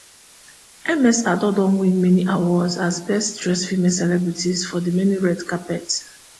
ms addo don win many awards as best dressed female celebrity for di many red carpet